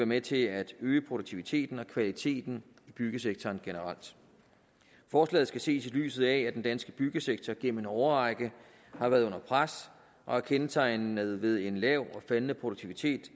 med til at øge produktiviteten og kvaliteten i byggesektoren generelt forslaget skal ses i lyset af at den danske byggesektor igennem en årrække har været under pres og er kendetegnet ved en lav og faldende produktivitet